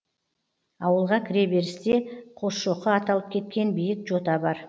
ауылға кіреберісте қосшоқы аталып кеткен биік жота бар